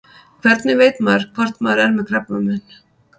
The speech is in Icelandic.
Hvernig veit maður hvort maður er með krabbamein?